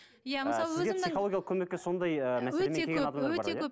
иә мысалы психологиялық көмекке сондай